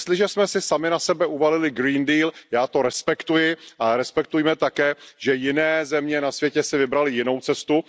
Jestliže jsme si sami na sebe uvalili Green Deal já to respektuji, ale respektujme také, že jiné země na světě si vybraly jinou cestu.